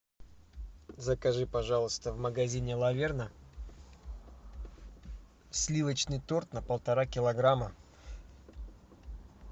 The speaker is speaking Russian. закажи пожалуйста в магазине лаверна сливочный торт на полтора килограмма